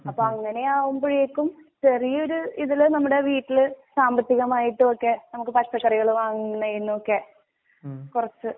അപ്പ അങ്ങനെയാവുമ്പോഴേക്കും ചെറിയഒര് ഇതില്ന്നമ്മടെവീട്ടില് സാമ്പത്തികമായിട്ടുവോക്കെ നമുക്ക് പച്ചക്കറികള് വാങ്ങുന്നനെന്നുവോക്കെ കുറച്ച്